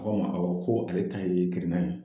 N ko ma a ko ko awɔ ko ale ta ye kirinnan ye